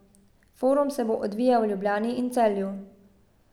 Forum se bo odvijal v Ljubljani in Celju.